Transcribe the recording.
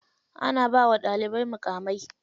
Ana bawa ɗalibai muƙamai.